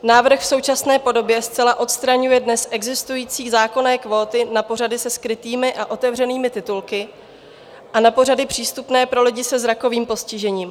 Návrh v současné podobě zcela odstraňuje dnes existující zákonné kvóty na pořady se skrytými a otevřenými titulky a na pořady přístupné pro lidi se zrakovým postižením.